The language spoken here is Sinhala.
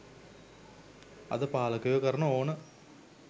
අද පාලකයෝ කරන ඕන